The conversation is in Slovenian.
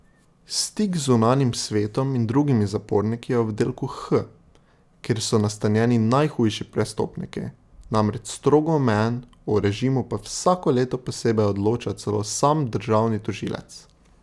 Stik z zunanjim svetom in drugimi zaporniki je v oddelku H, kjer so nastanjeni najhujši prestopniki, namreč strogo omejen, o režimu pa vsako leto posebej odloča celo sam državni tožilec.